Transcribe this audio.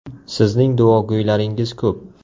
Sizning duogo‘ylaringiz ko‘p.